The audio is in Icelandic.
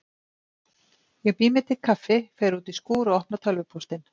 Ég bý mér til kaffi, fer út í skúr og opna tölvupóstinn.